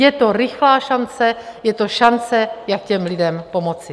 Je to rychlá šance, je to šance, jak těm lidem pomoci.